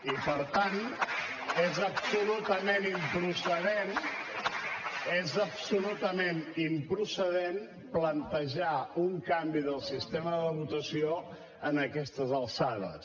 i per tant és absolutament improcedent és absolutament improcedent plantejar un canvi del sistema de votació a aquestes alçades